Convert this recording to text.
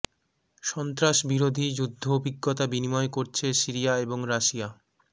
সন্ত্রাস বিরোধী যুদ্ধ অভিজ্ঞতা বিনিময় করছে সিরিয়া এবং রাশিয়া